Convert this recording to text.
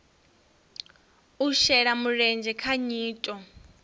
u shela mulenzhe kha nyito